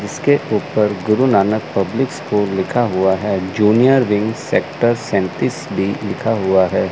इसके ऊपर Guru Nanak public school लिखा हुआ है जूनियर विंग सेक्टर सैंतीस भी लिखा हुआ है।